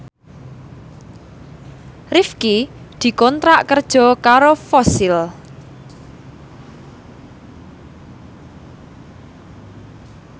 Rifqi dikontrak kerja karo Fossil